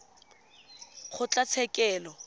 kgotlatshekelo